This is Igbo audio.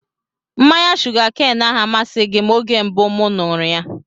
Mmanya shuga keenu ahụ amasịghị m oge mbụ mụ ṅụrụ ya